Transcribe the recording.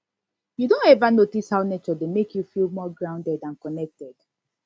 you don ever notice how nature dey make you feel more grounded and connected